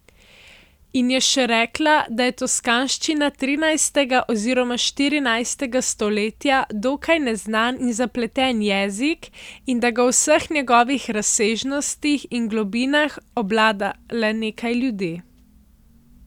In je še rekla, da je toskanščina trinajstega oziroma štirinajstega stoletja dokaj neznan in zapleten jezik in da ga v vseh njegovih razsežnostih in globinah obvlada le nekaj ljudi.